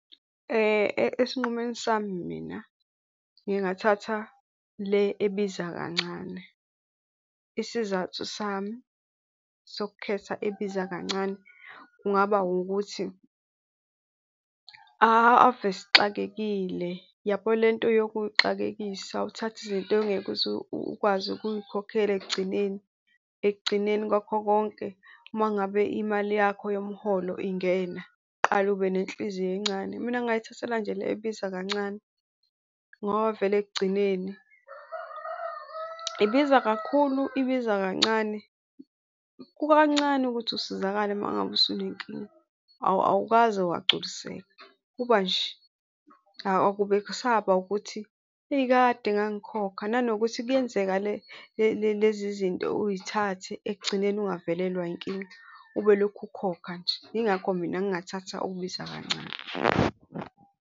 Esinqumeni sami mina ngingathatha le ebiza kancane, isizathu sami sokukhetha ebiza kancane kungaba ukuthi ave sixakekile. Uyabo le nto yokuyixakekisa, uthathe izinto ongeke uze ukwazi ukuyikhokhela ekugcineni. Ekugcineni kwakho konke uma ngabe imali yakho yomholo ingena, uqale ube nenhliziyo encane. Mina ngingayithathela nje le ebiza kancane ngoba vele ekugcineni, ibiza kakhulu, ibiza kancane, kukancane ukuthi usizakale uma ngabe usunenkinga awukaze wagculiseka, kuba nje. Akube kusaba ukuthi eyi, kade ngangikhokha nanokuthi kuyenzeka le lezi zinto uy'thathe ekugcineni ungavelelwa inkinga, ube ulokhu ukhokha nje. Yingakho mina ngingathatha okubiza kancane.